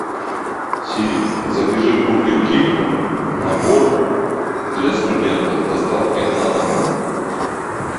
сири закажи в бургер кинг набор для студента с доставкой на дом